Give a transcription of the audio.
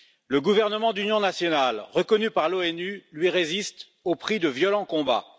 Le gouvernement d'union nationale, reconnu par l'ONU, lui résiste au prix de violents combats.